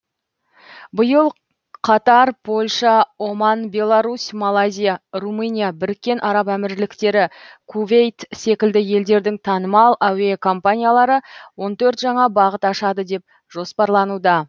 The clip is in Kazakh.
биыл қатар польша оман беларусь малайзия румыния біріккен араб әмірліктері кувейт секілді елдердің танымал әуе компаниялары он төрт жаңа бағыт ашады деп жоспарлануда